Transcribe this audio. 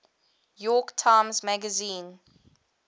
york times magazine